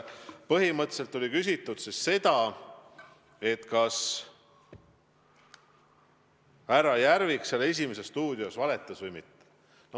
Põhimõtteliselt küsiti seda, kas härra Järvik "Esimeses stuudios" valetas või mitte.